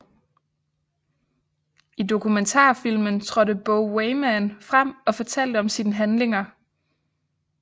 I dokumentarfilmen trådte Bo Weymann frem og fortalte om sine handlinger